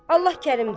Allah Kərimdir.